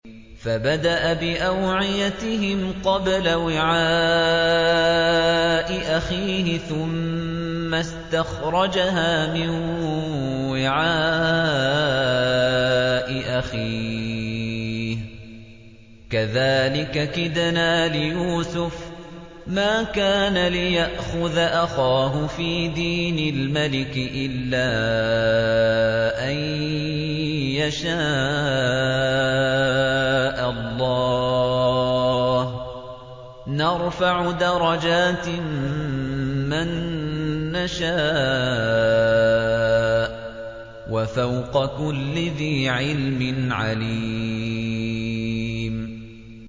فَبَدَأَ بِأَوْعِيَتِهِمْ قَبْلَ وِعَاءِ أَخِيهِ ثُمَّ اسْتَخْرَجَهَا مِن وِعَاءِ أَخِيهِ ۚ كَذَٰلِكَ كِدْنَا لِيُوسُفَ ۖ مَا كَانَ لِيَأْخُذَ أَخَاهُ فِي دِينِ الْمَلِكِ إِلَّا أَن يَشَاءَ اللَّهُ ۚ نَرْفَعُ دَرَجَاتٍ مَّن نَّشَاءُ ۗ وَفَوْقَ كُلِّ ذِي عِلْمٍ عَلِيمٌ